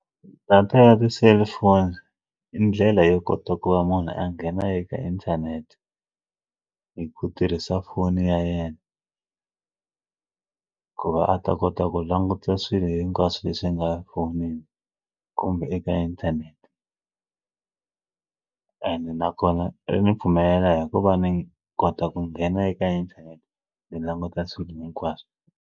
Data ya tiselifoni i ndlela yo kota ku va munhu a nghena eka inthanete hi ku tirhisa foni ya yena ku va a ta kota ku langutisa swilo hinkwaswo leswi nga fonini kumbe eka inthanete ene nakona ri ni pfumela hi ku va ni kota ku nghena eka inthanete ni languta swilo hinkwaswo.